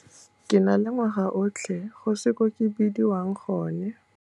Ke na le ngwaga otlhe go se ko ke bediwang gone.